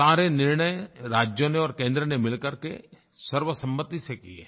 सारे निर्णय राज्यों ने और केंद्र ने मिलकर के सर्वसम्मति से किए हैं